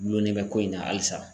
Gulonlen bɛ ko in na halisa.